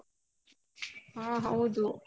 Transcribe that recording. ಹಾ ಹೌದು.